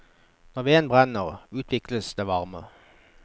Når veden brenner, utvikles det varme.